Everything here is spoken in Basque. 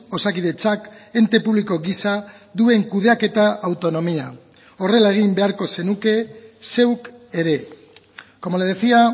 osakidetzak ente publiko gisa duen kudeaketa autonomia horrela egin beharko zenuke zeuk ere como le decía